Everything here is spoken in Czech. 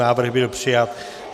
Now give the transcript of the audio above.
Návrh byl přijat.